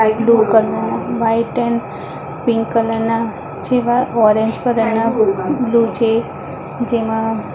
આ એક white and pink colour ના જેવા ઓરેન્જ કલર ના બ્લુ ચેક્સ જેવા --